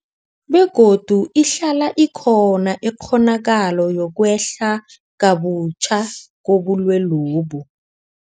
Begodu ihlala ikhona ikghonakalo yokwehla kabutjha kobulwelobu.